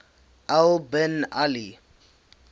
al bin ali